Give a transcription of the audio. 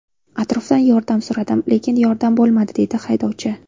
Atrofdan yordam so‘radim, lekin yordam bo‘lmadi”, – deydi haydovchi.